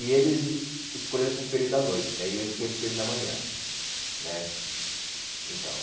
E eles eh escolheram para o período da noite né, e eu escolhi para o período da manhã né. Então